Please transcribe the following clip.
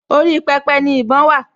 Orí pẹpẹ ni ìbọn wà